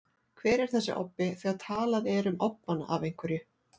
Hver er þessi obbi, þegar talað er um obbann af einhverju?